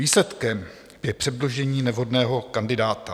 Výsledkem je předložení nevhodného kandidáta.